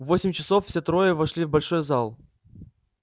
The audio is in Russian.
в восемь часов все трое вошли в большой зал